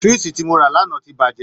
Swíìṣì tí mo rà lánàá ti bàjẹ́